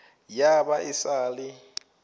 ya ba e sa le